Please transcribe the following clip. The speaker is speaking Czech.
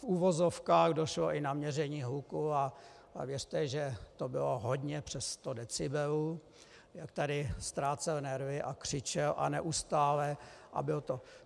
V uvozovkách došlo i na měření hluku a věřte, že to bylo hodně přes 100 decibelů, jak tady ztrácel nervy a křičel, a neustále, a byl to...